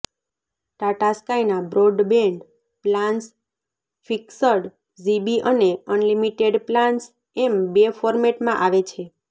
ટાટા સ્કાયના broadband plans fixed GB અને unlimited plans એમ બે ફોર્મેટમાં આવે છે